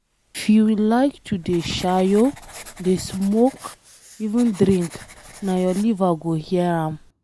If you like to dey shayo, dey smoke even drink na your liver go hear am.